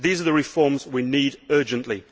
These are the reforms we need urgently.